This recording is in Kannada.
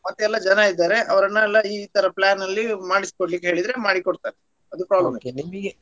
ಮತ್ತೆ ಎಲ್ಲ ಜನ ಇದ್ದಾರೆ ಅವರ್ನೆಲ್ಲ ಇತರ plan ನಲ್ಲಿ ಮಾಡಿಸಿ ಕೊಡಿ ಹೇಳಿದ್ರೆ ಮಾಡಿಕೊಡ್ತಾರೆ .